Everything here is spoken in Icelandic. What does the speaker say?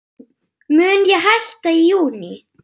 Mun ég hætta í júní?